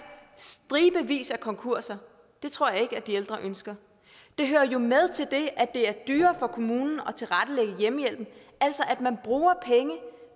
stribevis af konkurser det tror jeg ikke at de ældre ønsker det hører jo med til det at det er dyrere for kommunen at tilrettelægge hjemmehjælpen altså at man bruger penge